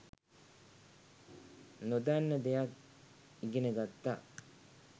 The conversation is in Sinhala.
නොදන්න දෙයක් ඉගෙන ගත්තා